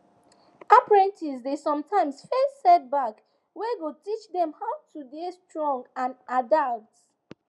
apprentices dey sometimes face setback wey go teach them how to to dey strong and adapt